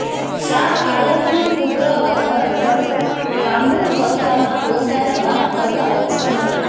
શાહઆલમનો પુત્ર અકબર પણ કામુકતામાં પોતાના બાપ કરતાં ઓછો ન હતો